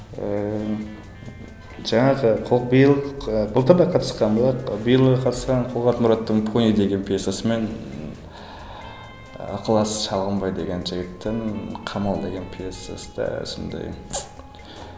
ыыы жаңағы биыл былтыр да қатысқан болатын биыл да қатысқан қолғанат мұраттың пони деген пьесасымен ы ықылас шалғынбай деген жігіттің қамал деген пьесасы да сондай